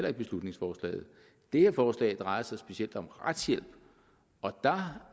ikke beslutningsforslaget det her forslag drejer sig specielt om retshjælp og der